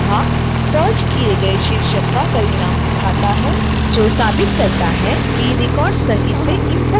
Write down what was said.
koha search किए गए शीर्षक का परिणाम दिखाता है जो साबित करता है कि records सही से इंपोर्ट हुआ है